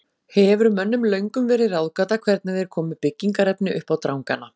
Hefur mönnum löngum verið ráðgáta hvernig þeir komu byggingarefni uppá drangana.